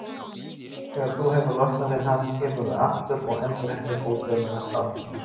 Þegar þú hefur losnað við hann kemurðu aftur og endurheimtir ódauðlega sál þína.